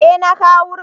E na kawo wurin.